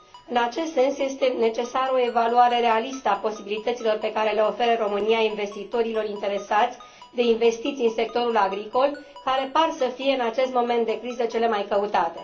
În acest sens, este necesară o evaluare realistă a posibilităților pe care le oferă România investitorilor interesați de investiții în sectorul agricol, care par să fie, în acest moment de criză, cele mai căutate.